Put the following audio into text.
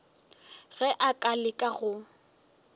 ge a ka leka go